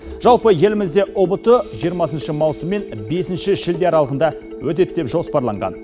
жалпы елімізде ұбт жиырмасыншы маусым мен бесінші шілде аралығында өтеді деп жоспарланған